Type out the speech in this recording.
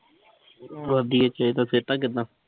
ਸਿਹਤਾਂ ਕਿੱਦਾਂ?